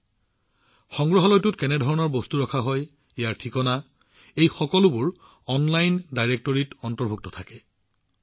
সংগ্ৰহালয়টো কি বিষয়বস্তুৰ ওপৰত আধাৰিত তাত কেনে ধৰণৰ বস্তু ৰখা হয় তেওঁলোকৰ যোগাযোগৰ বিৱৰণ কি এই সকলোবোৰ অনলাইন ডাইৰেক্টৰী এটাত একত্ৰিত কৰা হয়